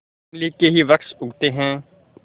इमली के ही वृक्ष उगते हैं